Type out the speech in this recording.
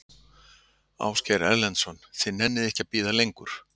Ásgeir Erlendsson: Þið nennið ekki að bíða lengur?